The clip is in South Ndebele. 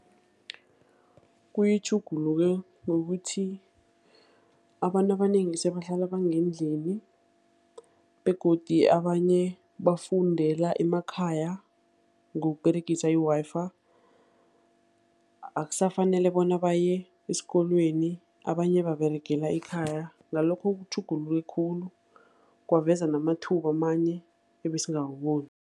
Kuyitjhugulule ngokuthi abantu abanengi sebahlala bangendlini, begodu abanye bafundela emakhaya, ngokuberegisa i-Wi-Fi. Akusafanele bona baye esikolweni, abanye baberegela ekhaya. Ngalokho, kutjhuguluke khulu, kwaveza namathuba amanye ebesingawaboni.